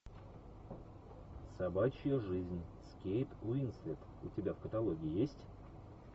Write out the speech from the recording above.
собачья жизнь с кейт уинслет у тебя в каталоге есть